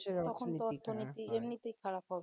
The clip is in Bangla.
এমনিতেই খারাপ হবে